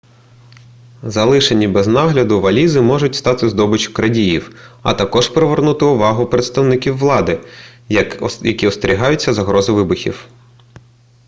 залишені без нагляду валізи можуть стати здобиччю крадіїв а також привернути увагу представників влади які остерігаються загрози вибухів